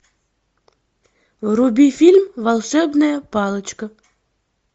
вруби фильм волшебная палочка